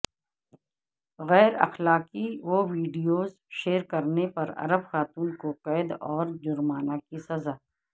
غیراخلاقی videos share کرنے پر عرب خاتون کو قید اور جرمانہ کی سزا